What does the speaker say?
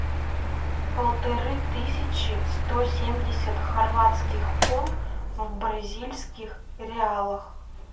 полторы тысячи сто семьдесят хорватских кун в бразильских реалах